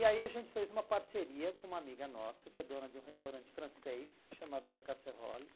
E aí a gente fez uma parceria com uma amiga nossa, que é dona de um restaurante francês, chamado La Casserolle.